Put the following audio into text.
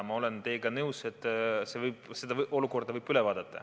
Ma olen teiega nõus, et selle olukorra võib üle vaadata.